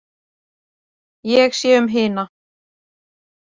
Ég sé um hina